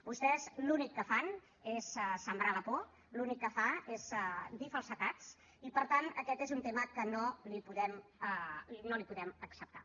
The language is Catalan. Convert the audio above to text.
vostès l’únic que fan és sembrar la por vostè l’únic que fa és dir falsedats i per tant aquest és un tema que no li podem acceptar